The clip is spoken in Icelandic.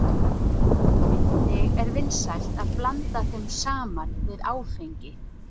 Einnig er vinsælt að blanda þeim saman við áfengi.